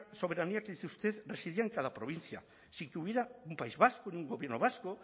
soberanía que dice usted residía en cada provincia sin que hubiera un país vasco ni un gobierno vasco